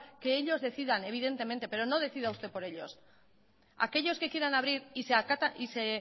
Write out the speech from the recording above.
que ellos decidan evidentemente pero no decida usted por ellos aquellos que quieran abrir y se